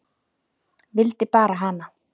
Vildir bara hana.